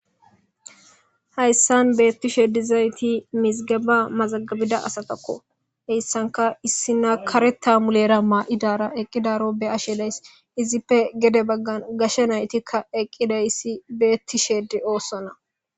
hayssan beettishe dizayti mizigaba mazagabiza asatakko heyssanka issi na kare taamulera maa'idara eqqidaro be ashelays izippe gede baggan gashe naytikka eqqidayissi beettishe de'oossonna